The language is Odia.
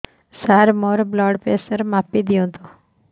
ସାର ମୋର ବ୍ଲଡ଼ ପ୍ରେସର ମାପି ଦିଅନ୍ତୁ